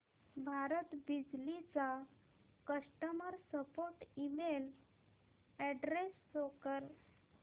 भारत बिजली चा customer support email address show कर